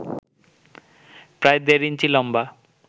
প্রায় দেড় ইঞ্চি লম্বা